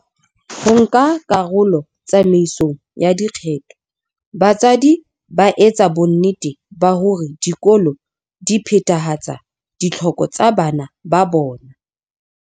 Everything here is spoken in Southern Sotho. Ho nka karolo tsamaisong ya dikgetho, batswadi ba etsa bonnete ba hore dikolo di phethahatsa ditlhoko tsa bana ba bona.